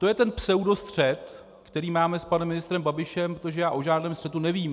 To je ten pseudostřet, který máme s panem ministrem Babišem, protože já o žádném střetu nevím.